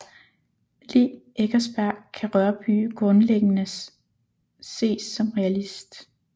Lig Eckersberg kan Rørbye grundlæggendes ses som realist